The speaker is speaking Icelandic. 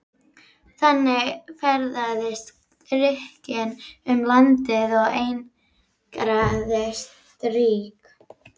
Þannig ferðaðist Grikkinn um landið og einangraði stýri.